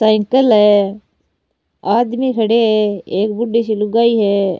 Cycle है आदमी खड़े है एक बूढी सी लुगाई है।